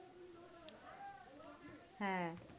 হ্যাঁ।